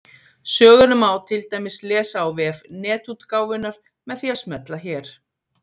Söguna má til dæmis lesa á vef Netútgáfunnar með því að smella hér.